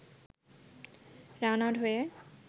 run-out হয়ে